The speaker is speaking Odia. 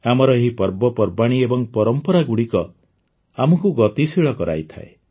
ଆମର ଏହି ପର୍ବପର୍ବାଣୀ ଏବଂ ପରମ୍ପରାଗୁଡ଼ିକ ଆମକୁ ଗତିଶୀଳ କରାଇଥାଏ